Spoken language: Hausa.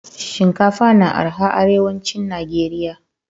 Shinkafa na araha arewacin nageria